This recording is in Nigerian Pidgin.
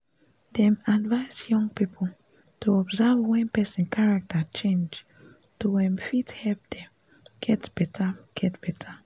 dem advice young people to observe wen person character change to um fit help dem get better get better